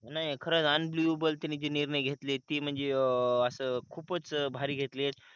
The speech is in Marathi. नाही खरंच अन्बिलीवबल त्यांनी ते निर्णय घेतलेत ते म्हणजे अं असं खूपच भारी घेतलेत.